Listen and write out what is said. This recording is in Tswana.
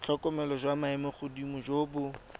tlhokomelo jwa maemogodimo jo bo